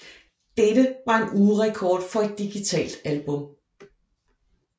Dette var en ugerekord for et digitalt album